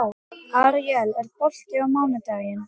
Aríel, er bolti á mánudaginn?